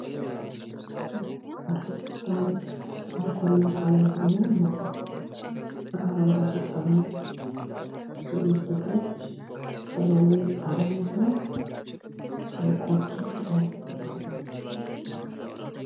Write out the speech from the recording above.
ስፕራይት ከአልኮል ነፃ የሆነ መጠጥ በአረንጓዴ ጠርሙስ የሚዘጋጅ ከሎሚ ጣዕም ያለዉ የኮርኪ ክዳን ያለበት።